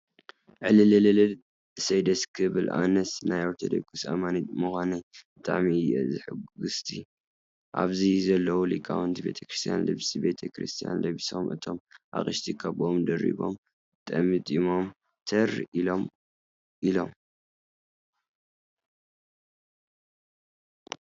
እልልልል! እሰይ ደስ ክብል ኣነስ ናይ ኦርቶዶክስ ኣማኒት ምዃነ ብጣዕሚ እየ ሕጉስቲ። ኣብዚ ዘለው ሊቃውቲ ቤተክርስትያን ልብሲ ቤተ-ክርስትያን ለቢሶም እቶም ኣቅሽቲ ካቦኦም ደሪቦምን ጠምጢሞም ተር ኢሎም ኢሎም።